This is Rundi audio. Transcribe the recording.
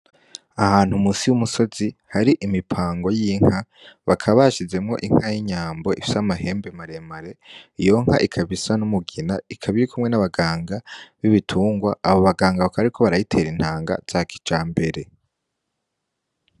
Ahantu musi y'umusozi hari imipango y'inka, bakaba bashizemwo inka y'inyambo ifise amahembe maremare, iyo nka ikaba isa n'umugina, ikaba irikumwe n'abaganga b'ibitungwa, abo baganga bakaba bariko barayitera intanga za kijambere.